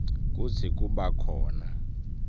kutsi kuba khona